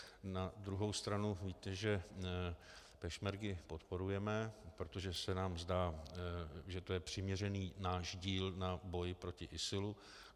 Na druhou stranu víte, že pešmergy podporujeme, protože se nám zdá, že je to přiměřený náš díl na boji proti ISIL.